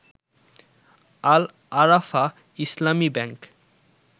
Al Arafah Islami bank